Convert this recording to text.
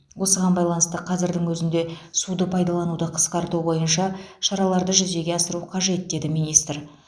осыған байланысты қазірдің өзінде суды пайдалануды қысқарту бойынша шараларды жүзеге асыру қажет деді министр